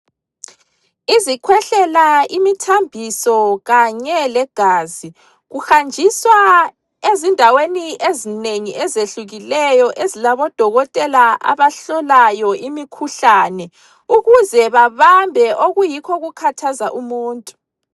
Izikhwehlela, imithambiso kanje legazi kuhanjiswa ezindaweni ezinengi ezehlukileyo ezilabo dokotela abahlolayo imikhuhlane ukuze babambe okuyikho okukhathaza umuntu.